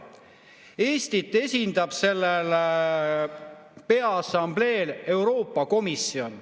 Eestit esindab sellel assambleel Euroopa Komisjon.